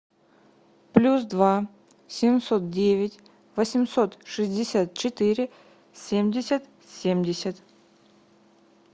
плюс два семьсот девять восемьсот шестьдесят четыре семьдесят семьдесят